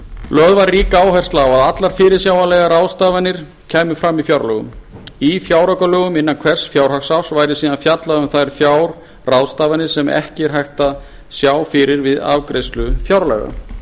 lögð var rík áhersla á að allar fyrirsjáanlegar fjárráðstafanir kæmu fram í fjárlögum í fjáraukalögum innan hvers fjárhagsárs væri síðan fjallað um þær fjárráðstafanir sem ekki er hægt að sjá fyrir við afgreiðslu fjárlaga